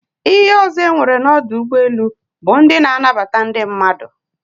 Ihe ozo enwere na odu ugboelu but ndi na-anabata ndi mmadu